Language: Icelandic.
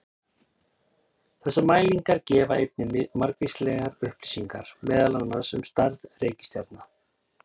Þessar mælingar gefa einnig margvíslegar upplýsingar meðal annars um stærð reikistjarna.